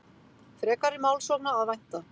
Frekari málssókna að vænta